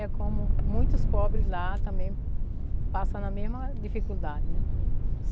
É como muitos pobres lá também passam na mesma dificuldade, né?